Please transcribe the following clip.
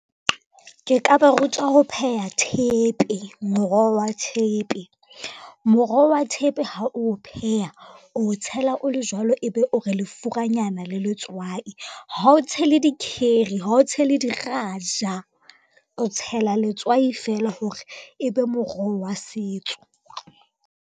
Ke ka ba rutwa ho pheha thepe, moroho wa thepe. Moroho wa thepe ha o pheha, o tshela o le jwalo ebe o re lefuranyana le letswai. Ha o tshele dikheri, ha o tshele diraja, o tshela letswai fela hore ebe moroho wa setso.